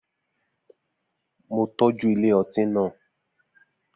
Mo tọ́jú ilé ọtí náà